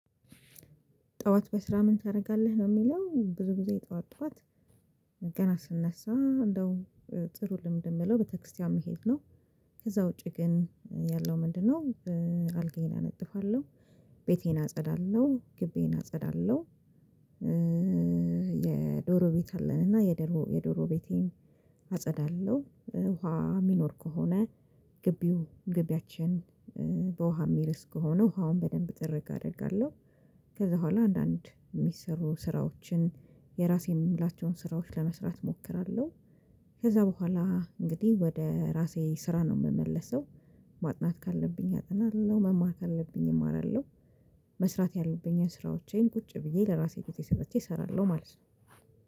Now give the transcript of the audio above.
ጡዋት በስራ ምን ታረጋለህ ነው የሚለዉ? ብዙ ጊዜ ጡዋት ጡዋት ገና ስነሳ አንዳዉም ጥሩ ልምድ የምለው ቤተክርስትያን መሄድ ነው። ከዛ ዉጪ ግን ያለው ምንድነው አልጋዬን አነጥፋለው ቤቴን አጸዳለው ግቢዬን አጸዳለው የዶሮ ቤት አለንና የድሮ የዶሮ ቤቴን አፀዳለዉ። ዉሃ የሚኖር ከሆነ ግቢው ግቢያችን በዉሃ የምርስ ከሆነ ዉሃዉን በደንብ ጥሪግ አደርጋለው። ከዛ ቦኋላ አንዳንድ የሚሰሩ ስራዎችን የራሴን ምላቸው ስራዎች ለመስራት ሞክራለው። ከዛ ቦኋላ አንግድህ ወደ ራሴ ስራ ነው ሚመለሰው። ማጥናት ካለብኝ አጥናለው መማር ካለብኝ አማራለው። መስራት ያለብኝን ስራዎቼን ቁጭ ብዬ ለራሴ ግዜ ሰጥቼ አሰራለው ማለት ነው።